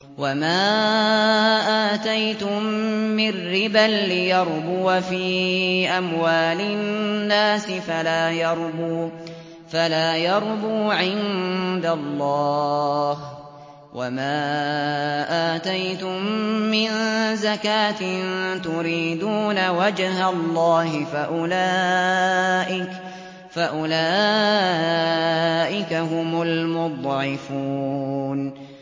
وَمَا آتَيْتُم مِّن رِّبًا لِّيَرْبُوَ فِي أَمْوَالِ النَّاسِ فَلَا يَرْبُو عِندَ اللَّهِ ۖ وَمَا آتَيْتُم مِّن زَكَاةٍ تُرِيدُونَ وَجْهَ اللَّهِ فَأُولَٰئِكَ هُمُ الْمُضْعِفُونَ